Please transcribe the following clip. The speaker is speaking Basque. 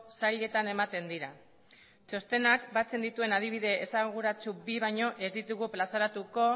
sailetan ematen dira txostenak batzen dituen adibide esanguratsu bi baino ez ditugu plazaratuko